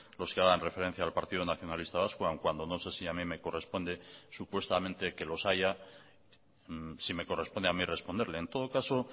los que hagan referencia al partido nacionalista vasco aún cuando no sé si a mí me corresponde supuestamente que los haya si me corresponde a mí responderle en todo caso